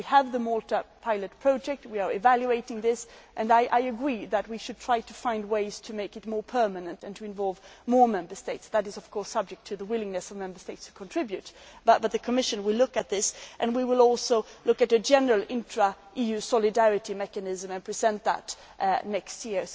We have the Malta pilot project and are evaluating this. I agree that we should try to find ways to make it more permanent and to involve more Member States. This is, of course, subject to the willingness of Member States to contribute, but the Commission will look at this and we will also look at a general intra EU solidarity mechanism and present that next